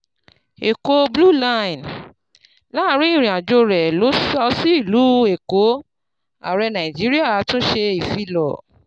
Èkó Blue Line: Láàárín ìrìn àjò rẹ̀ lọ sí ìlú Èkó, Ààrẹ Nàìjíríà tún ṣe ìfilọ̀